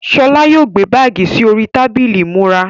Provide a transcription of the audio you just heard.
Ṣọlá yóò gbé báàgì sì orí tábìlì ìmúra.